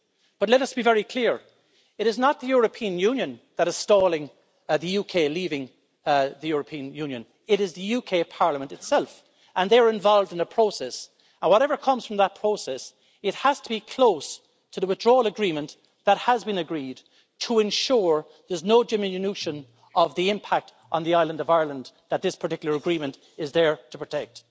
But let us be very clear, it is not the European Union that is stalling the UK leaving the European Union, it is the UK parliament itself, and they are involved in a process, and whatever comes from that process it has to be close to the Withdrawal Agreement that has been agreed, to ensure there's no diminution of the impact on the island of Ireland that this particular Agreement is there to protect.